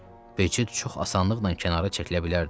Becid çox asanlıqla kənara çəkilə bilərdi,